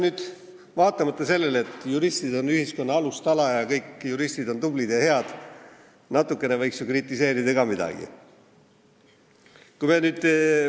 Aga vaatamata sellele, et juristid on ühiskonna alustala ning kõik juristid on tublid ja head, võiks natukene ikkagi midagi kritiseerida ka.